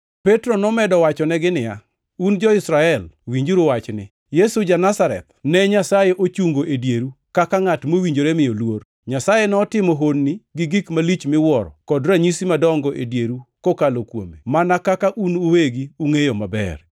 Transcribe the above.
Petro nomedo wachonegi niya, “Un jo-Israel, winjuru wachni: Yesu ja-Nazareth ne Nyasaye ochungo e dieru kaka ngʼat mowinjore miyo luor. Nyasaye notimo honni gi gik malich miwuoro kod ranyisi madongo e dieru kokalo kuome, mana kaka un uwegi ungʼeyo maber.